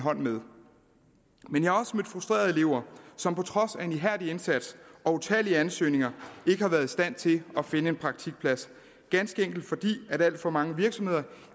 hånd med men jeg har også mødt frustrerede elever som på trods af en ihærdig indsats og utallige ansøgninger ikke har været i stand til at finde en praktikplads ganske enkelt fordi at alt for mange virksomheder